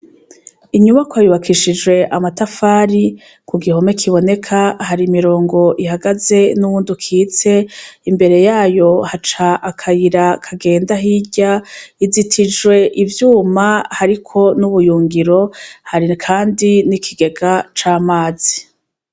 Inyubakwa yubakishijwe amatafari ,kugihome kiboneka hari imirongo ihagaze n'uwundi ukitse ,imbere yayo haca akayira kagenda hirya, izitijwe ivyuma hariko n'ubuyungiro hari kandi n'ikigega c'amazi.